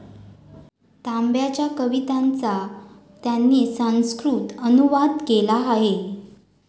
तांब्यांच्या कवितांचा त्यांनी संस्कृत अनुवाद केला आहे.